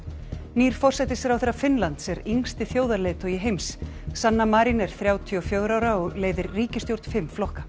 nýr forsætisráðherra Finnlands er yngsti þjóðarleiðtogi heims sanna Marin er þrjátíu og fjögurra ára og leiðir ríkisstjórn fimm flokka